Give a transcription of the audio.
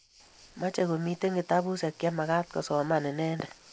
mache komiten kitabushek chemagaat kosoman inendet